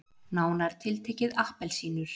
Nánar tiltekið appelsínur.